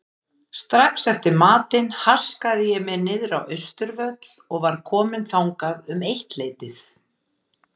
Strax eftir matinn haskaði ég mér niðrá Austurvöll og var kominn þangað um eittleytið.